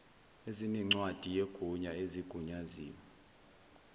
ezinencwadi yegunya ezigunyaziwe